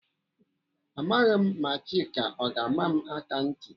Amaghị ma Chika ọ ga-ama m akanti.